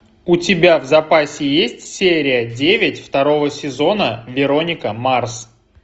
у тебя в запасе есть серия девять второго сезона вероника марс